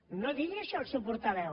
que no digui això el seu portaveu